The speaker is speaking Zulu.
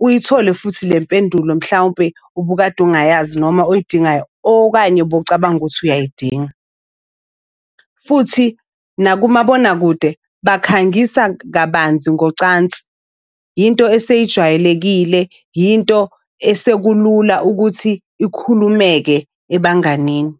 uyithole futhi le mpendulo mhlawumpe ubukade ungayazi noma oyidingayo okanye bowucabanga ukuthi uyayidinga. Futhi nakumabonakude bakhangisa kabanzi ngocansi. Into eseyijwayelekile, into esekulula ukuthi ikhulumeke ebanganini.